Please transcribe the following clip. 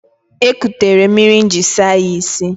O ekutere mmiri m jiri saa ya isi.